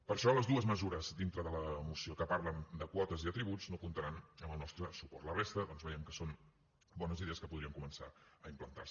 per això les dues mesures dintre de la moció que parlen de quotes i de tributs no comptaran amb el nostre suport la resta doncs veiem que són bones idees que podrien començar a implantar se